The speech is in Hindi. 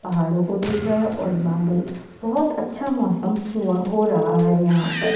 पहाड़ो को देख रहा है और बादल बहोत अच्छा मौसम हुआ हो रहा है यहाँ पर।